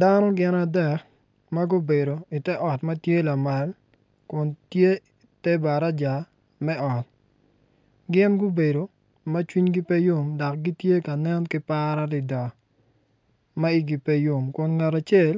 Dano gin adek ma gubedo i te ot ma tye lamal kun tye te baraja me ot gin gubedo ma cwinygi pe yom dok gitye ka nen ki par adada ma igi pe yom kin ngat acel